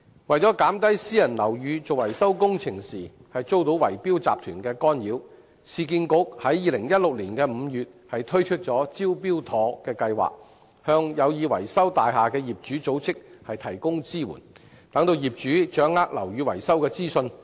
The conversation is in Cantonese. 為減少私人樓宇進行維修工程時遭圍標集團干擾，市區重建局在2016年5月推出"招標妥"樓宇復修促進服務，向有意維修大廈的業主組織提供支援，讓業主掌握樓宇維修的資訊。